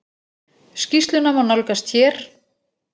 Skýrsluna má nálgast hér.